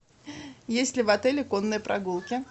есть ли в отеле конные прогулки